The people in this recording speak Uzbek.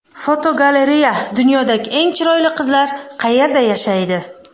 Fotogalereya: Dunyodagi eng chiroyli qizlar qayerda yashaydi?.